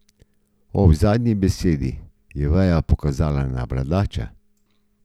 Ob zadnji besedi je veja pokazala na bradača.